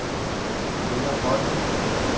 Peder Høyer